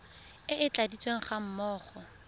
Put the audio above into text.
e e tladitsweng ga mmogo